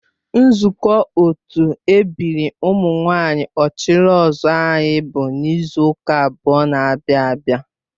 Nzukọ otu ebiri ụmụ nwanyị ochiri ozuor anyị bụ n'izu ụka abụọ n'abia abia